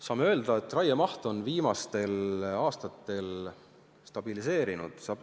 Saame öelda, et raiemaht on viimastel aastatel stabiliseerunud.